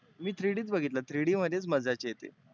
मी three D चं बघितला. three D मध्येच मजा येते.